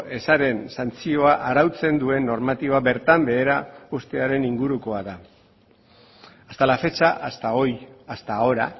ezaren santzioa arautzen duen normatiba bertan behera uztearen ingurukoa da hasta la fecha hasta hoy hasta ahora